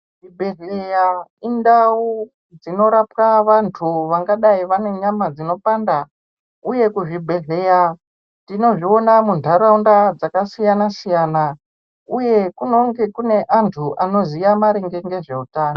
Zvibhedhleya indau dzinorapwa vantu vangadai vane nyama dzinopanda uye kuzvibhedhleya tinozviona munharaunda dzakasiyana siyana uye kunenge kune antu anoziya maringe ngezvehutano.